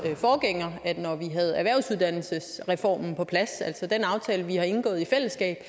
forgænger at når vi havde erhvervsuddannelsesreformen på plads altså den aftale vi har indgået i fællesskab